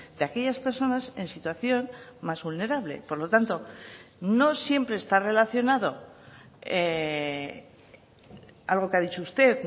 de aquellas personas en situación más vulnerable por lo tanto no siempre está relacionado algo que ha dicho usted